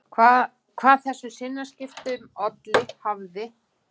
Hvað þessum sinnaskiptum olli hafði